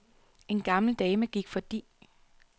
En gammel dame gik fordi.